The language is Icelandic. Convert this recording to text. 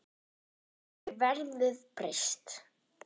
Þá hefur verðið breyst.